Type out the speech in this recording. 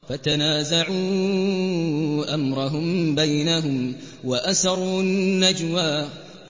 فَتَنَازَعُوا أَمْرَهُم بَيْنَهُمْ وَأَسَرُّوا النَّجْوَىٰ